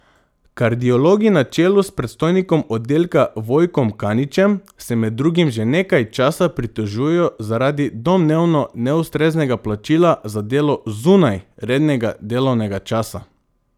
Kardiologi na čelu s predstojnikom oddelka Vojkom Kaničem se med drugim že nekaj časa pritožujejo zaradi domnevno neustreznega plačila za delo zunaj rednega delovnega časa.